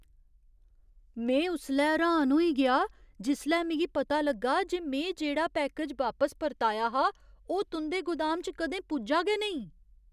में उसलै र्हान होई गेआ जिसलै मिगी पता लग्गा जे में जेह्ड़ा पैकेज वापस परताया हा ओह् तुं'दे गोदाम च कदें पुज्जा गै नेईं!